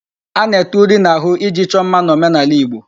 A na-ete uri n'ahụ iji chọọ mma n'omenaala Igbo.